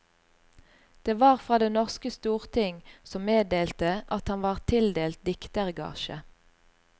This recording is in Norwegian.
Det var fra det norske storting som meddelte at han var tildelt diktergasje.